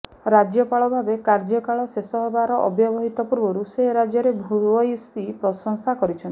ରାଜ୍ୟପାଳ ଭାବେ କାର୍ୟ୍ୟକାଳ ଶେଷ ହେବାର ଅବ୍ୟବହିତ ପୂର୍ବରୁ ସେ ରାଜ୍ୟର ଭୂୟସୀ ପ୍ରଶଂସା କରିଛନ୍ତି